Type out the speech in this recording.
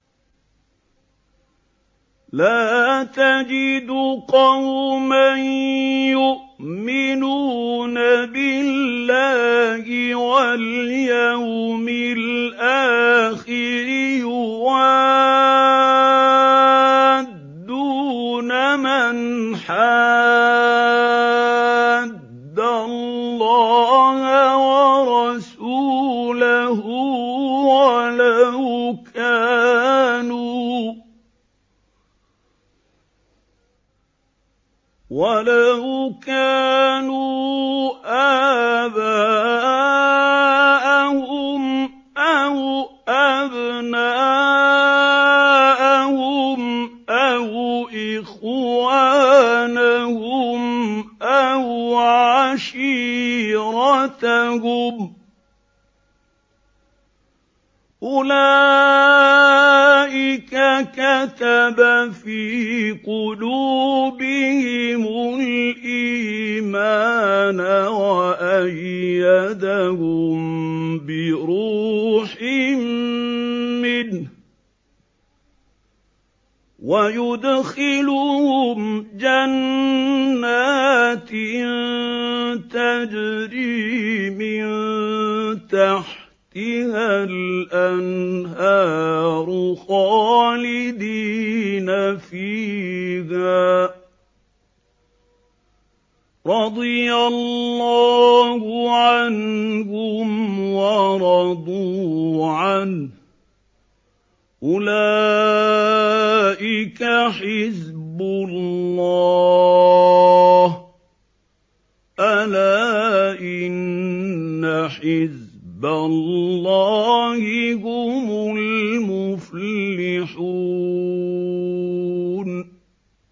لَّا تَجِدُ قَوْمًا يُؤْمِنُونَ بِاللَّهِ وَالْيَوْمِ الْآخِرِ يُوَادُّونَ مَنْ حَادَّ اللَّهَ وَرَسُولَهُ وَلَوْ كَانُوا آبَاءَهُمْ أَوْ أَبْنَاءَهُمْ أَوْ إِخْوَانَهُمْ أَوْ عَشِيرَتَهُمْ ۚ أُولَٰئِكَ كَتَبَ فِي قُلُوبِهِمُ الْإِيمَانَ وَأَيَّدَهُم بِرُوحٍ مِّنْهُ ۖ وَيُدْخِلُهُمْ جَنَّاتٍ تَجْرِي مِن تَحْتِهَا الْأَنْهَارُ خَالِدِينَ فِيهَا ۚ رَضِيَ اللَّهُ عَنْهُمْ وَرَضُوا عَنْهُ ۚ أُولَٰئِكَ حِزْبُ اللَّهِ ۚ أَلَا إِنَّ حِزْبَ اللَّهِ هُمُ الْمُفْلِحُونَ